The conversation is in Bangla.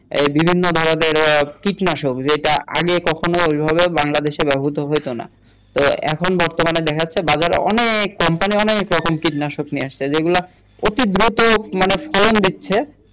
এই বিভিন্ন ধরনের কীটনাশক যেটা আগে কখনো ঐভাবে বাংলাদেশে ব্যবহৃত হতো না তো এখন বর্তমানে দেখা যাচ্ছে বাজারে অনেক কোম্পানি অনেক রকমের কীটনাশক নিয়ে আসছে যে গুলা অতি দ্রুত মানে ফলন দিচ্ছে